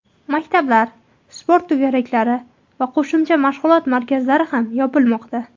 Maktablar, sport to‘garaklari va qo‘shimcha mashg‘ulot markazlari ham yopilmoqda.